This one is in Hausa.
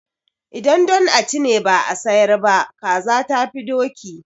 Idan don a ci ne ba a sayar ba, kaza tafi doki.